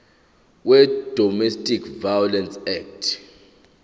wedomestic violence act